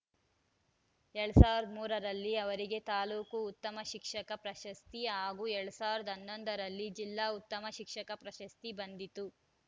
ಎರಡ್ ಸಾವಿರದ ಮೂರ ರಲ್ಲಿ ಅವರಿಗೆ ತಾಲೂಕು ಉತ್ತಮ ಶಿಕ್ಷಕ ಪ್ರಶಸ್ತಿ ಹಾಗೂ ಎರಡ್ ಸಾವಿರದ ಹನ್ನೊಂದ ರಲ್ಲಿ ಜಿಲ್ಲಾ ಉತ್ತಮ ಶಿಕ್ಷಕ ಪ್ರಶಸ್ತಿ ಬಂದಿತ್ತು